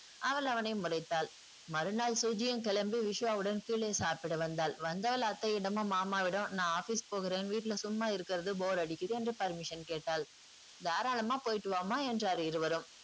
அவள் அவனை முறைத்தாள். மறுநாள் சுஜியும் கிளம்பி விஸ்வாவுடன் கீழே சாப்பிட வந்தாள். வந்தவள் அத்தையிடமும் மாமாவிடமும் நான் office போகிறேன், வீட்டுல சும்மா இருக்குறது bore அடிக்குது என்று permission கேட்டாள். தாராளமா போயிட்டு வாம்மா என்றார் இருவரும்.